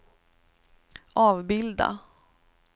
avbilda